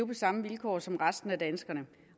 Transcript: på samme vilkår som resten af danskerne